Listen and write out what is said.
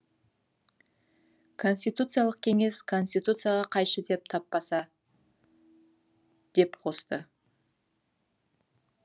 конституциялық кеңес конституцияға қайшы деп таппаса деп қосты